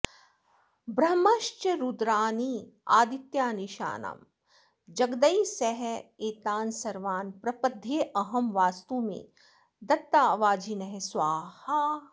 बह्नश्च रुद्रानादित्यानीशानं जगदैः सह एतान् सर्वान् प्रपद्येऽहं वास्तु मे दत्तावाजिनः स्वाहा